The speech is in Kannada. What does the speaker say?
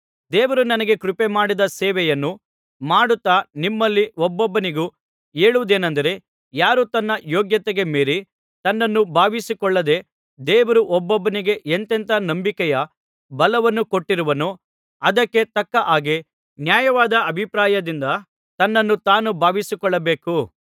ದೇವರು ನನಗೆ ಕೃಪೆಮಾಡಿದ ಸೇವೆಯನ್ನು ಮಾಡುತ್ತಾ ನಿಮ್ಮಲ್ಲಿ ಒಬ್ಬೊಬ್ಬನಿಗೂ ಹೇಳುವುದೇನಂದರೆ ಯಾರೂ ತನ್ನ ಯೋಗ್ಯತೆಗೆ ಮೀರಿ ತನ್ನನ್ನು ಭಾವಿಸಿಕೊಳ್ಳದೆ ದೇವರು ಒಬ್ಬೊಬ್ಬನಿಗೆ ಎಂಥೆಂಥ ನಂಬಿಕೆಯ ಬಲವನ್ನು ಕೊಟ್ಟಿರುವನೋ ಅದಕ್ಕೆ ತಕ್ಕ ಹಾಗೆ ನ್ಯಾಯವಾದ ಅಭಿಪ್ರಾಯದಿಂದ ತನ್ನನ್ನು ತಾನು ಭಾವಿಸಿಕೊಳ್ಳಬೇಕು